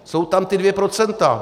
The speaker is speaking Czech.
Jsou tam ta dvě procenta.